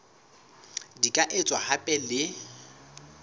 di ka etswa hape le